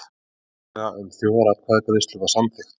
Tillaga um þjóðaratkvæðagreiðslu samþykkt